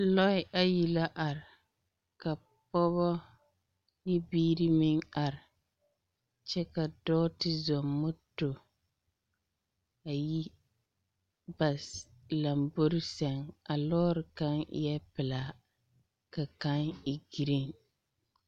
Lɔɛ ayi la are. Ka Pɔgebɔ ne biiri meŋ are. Kyɛ ka dɔɔ te zɔŋ moto ayi bas lambori seŋ. A lɔɔre kaŋ eɛɛ pelaa ka kaŋ e gereen.